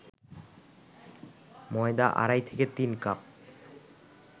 ময়দা আড়াই থেকে তিন কাপ